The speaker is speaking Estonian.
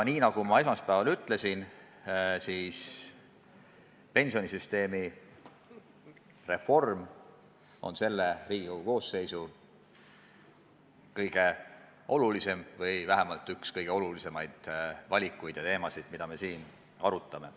Nagu ma esmaspäeval ütlesin: pensionisüsteemi reform on selle Riigikogu koosseisu kõige olulisem või vähemalt üks kõige olulisemaid valikuid ja teemasid, mida me siin arutame.